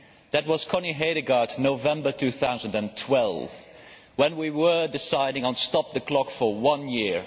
That was Connie Hedegaard in November 2012 when we were deciding on stop the clock for one year.